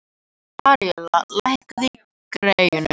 Aríella, lækkaðu í græjunum.